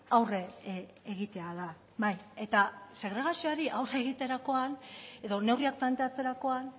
aurre egitea da bai eta segregazioari aurre egiterakoan edo neurriak planteatzerakoan